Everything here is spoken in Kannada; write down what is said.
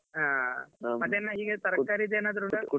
ಹಾ ಮತ್ತೆ ಏನ್ ಈಗ ತರ್ಕಾರಿದ್ದು ಏನಾದ್ರು ಉಂಟಾ .